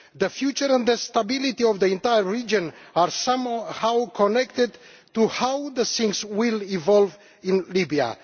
The future and the stability of the entire region are somehow connected to how things will evolve in Libya.